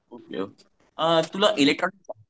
okay okay अ तुला electronic